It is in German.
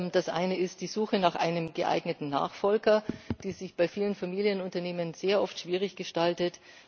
Das eine ist die Suche nach einem geeigneten Nachfolger, die sich bei vielen Familienunternehmen sehr oft schwierig gestaltet.